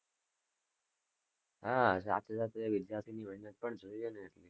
હા, સાથે સાથે વિદ્યાર્થીની મહેનત પણ જોઈને એટલી,